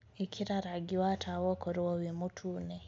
ĩkĩra rangĩ wa tawa ũkorwo wi mũtũne